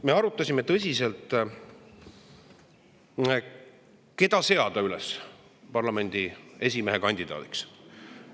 Me arutasime tõsiselt, keda seada üles parlamendi esimehe kandidaadiks.